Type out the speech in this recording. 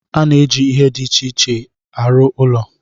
A na-eji ihe dị iche iche arụ ụlọ